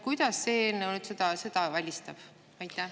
Kuidas see eelnõu selle välistab?